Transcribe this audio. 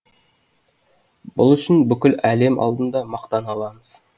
бұл үшін бүкіл әлем алдында мақтана аламыз